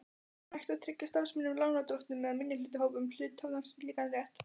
hægt að tryggja starfsmönnum, lánardrottnum eða minnihlutahópum hluthafa slíkan rétt.